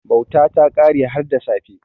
Bauta ta kare har da safe.